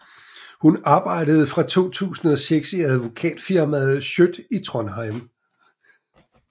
Hun arbejder fra 2006 i advokatfirmaet Schjødt i Trondheim